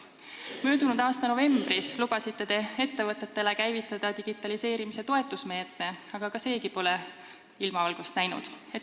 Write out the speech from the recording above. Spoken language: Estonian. Möödunud aasta novembris lubasite ettevõtetele käivitada digitaliseerimise toetusmeetme, aga seegi pole ilmavalgust näinud.